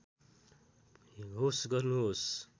होस् गर्नुहोस्